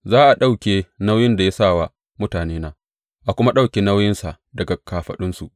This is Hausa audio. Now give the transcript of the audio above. Za a ɗauke nauyin da ya sa wa mutanena, a kuma ɗauke nauyinsa daga kafaɗunsu.